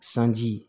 Sanji